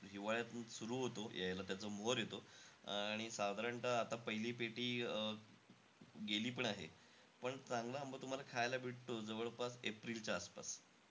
हिवाळ्यात सुरु होतो यायला, त्याचा मोहोर येतो. आणि साधारणतः आता पहिली पेटी अं गेलीपण आहे. पण चांगला आंबा तुम्हाला खायला भेटतो जवळपास एप्रिलच्या आसपास.